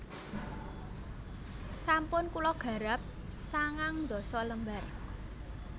Sampun kula garap sangang ndasa lembar